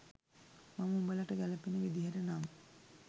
මම උඹලට ගැලපෙන විදිහට නම්